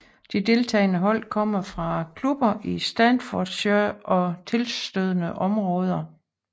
De deltagende hold kommer fra klubber i Staffordshire og tilstødende områder